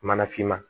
Mana finma